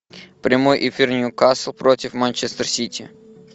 прямой эфир ньюкасл против манчестер сити